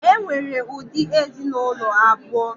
E nwere ụdị ezinụlọ abụọ.